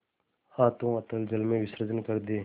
हाथों अतल जल में विसर्जन कर दे